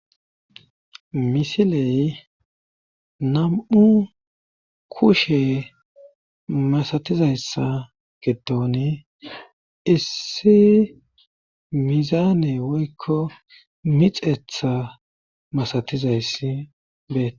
Misiley nam7u kushe masatizayssa getoni issi mizaane woykko mixetha masatizayssi bee.